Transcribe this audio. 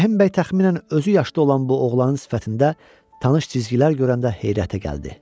Rəhim bəy təxminən özü yaşda olan bu oğlanın sifətində tanış cizgilər görəndə heyrətə gəldi.